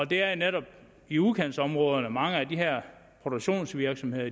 det er jo netop i udkantsområderne mange af de her produktionsvirksomheder